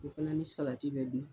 O fana ni salati bɛ dun